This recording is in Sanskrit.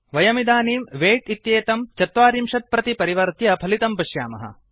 वयमिदानीं वैट् इत्येतं ४० प्रति परिवर्त्य फलितं पश्यामः